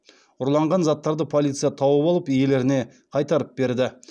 ұрланған заттарды полиция тауып алып иелеріне қайтарып берді